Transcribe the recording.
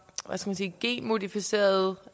genmodificerede